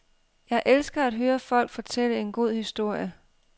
Jeg elsker at høre folk fortælle en god historie.